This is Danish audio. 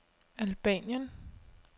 Albanien